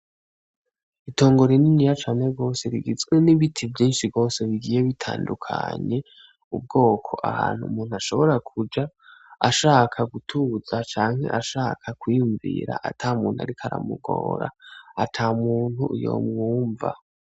Itongo rininiya cane gose rigizwe n'ibiti vyinshi bigiye bitandukanye ubwoko ahantu umuntu ashobora kuja ashaka kuruhuka kwiyumvira atamuntu ariko aramugora atamuntu yomwumva.